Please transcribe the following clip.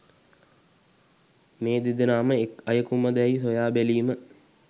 මේ දෙදෙනාම එක් අයකුම දැයි සොයාබැලීම